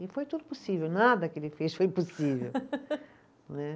E foi tudo possível, nada que ele fez foi impossível. né